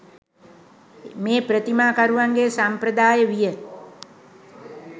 මේ ප්‍රතිමා කරුවන්ගේ සම්ප්‍රදාය විය.